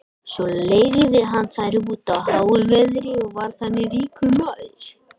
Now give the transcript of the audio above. svo leigði hann þær út á háu verði og varð þannig ríkur maður